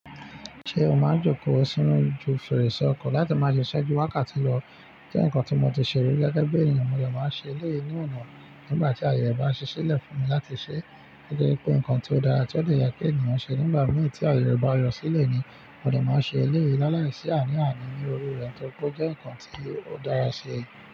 Ṣé o máa jókòó sínú ojuu fèrèsé ọkọ̀ láti máa le ṣe ṣẹ́jú wákàtí lọ, je ǹkan tí mo ti ṣe rí gẹ́gẹ́ bí ènìyàn, mo de máa n ṣe eleyii ní ọ̀nà nígbà tí àyè re bá ṣi silẹ̀ fún mi láti ṣe, gẹ́gẹ́ pé ǹkan tí ó dára tí ó de yẹ kí ènìyàn ṣe nígbà mìíràn tí àyè bá yọ sílẹ̀ ni, mo de máa n ṣe eleyii lálàíṣì àní àní ní orí rẹ̀ torí pé ó jẹ́ ǹkan tí ó dára ṣe.